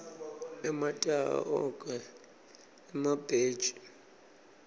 emataha ogwke emabhetji